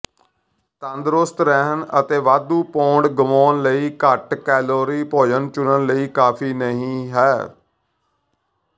ਤੰਦਰੁਸਤ ਰਹਿਣ ਅਤੇ ਵਾਧੂ ਪੌਂਡ ਗੁਆਉਣ ਲਈ ਘੱਟ ਕੈਲੋਰੀ ਭੋਜਨ ਚੁਣਨ ਲਈ ਕਾਫ਼ੀ ਨਹੀਂ ਹੈ